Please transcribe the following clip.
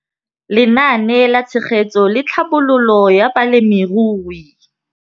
Lenaane la Tshegetso le Tlhabololo ya Balemirui.